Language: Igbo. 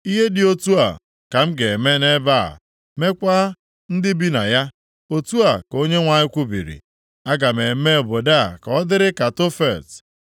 Ihe dị otu a ka m ga-eme nʼebe a, meekwa ndị bi na ya. Otu a ka Onyenwe anyị kwubiri. Aga m eme obodo a ka ọ dịrị ka Tofet.